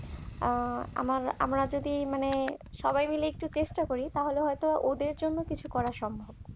আমার আমরা যদি মানে সবাই মিলে একটু চেষ্টা করি তাহলে হয়তো ওদের জন্য কিছু করা সম্ভব